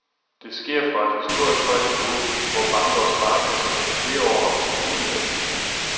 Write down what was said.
Det sker fra et historisk højt niveau, hvor banker og sparekasser gennem flere år har bugnet af penge.